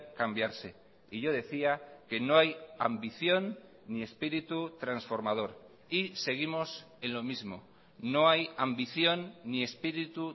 cambiarse y yo decía que no hay ambición ni espíritu transformador y seguimos en lo mismo no hay ambición ni espíritu